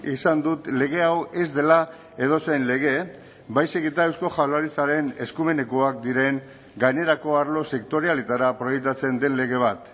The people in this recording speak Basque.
izan dut lege hau ez dela edozein lege baizik eta eusko jaurlaritzaren eskumenekoak diren gainerako arlo sektorialetara proiektatzen den lege bat